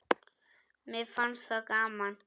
Mér fannst það gaman.